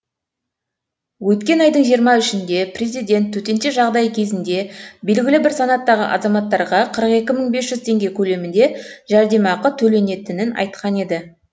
өткен айдың жиырма үшінде президент төтенше жаңдай кезінде белгілі бір санаттағы азаматтарға қырық екі мың бес жүз теңге көлемінде жәрдемақы төленетінін айтқан еді